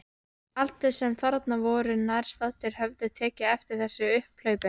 Allir sem þarna voru nærstaddir höfðu tekið eftir þessu upphlaupi.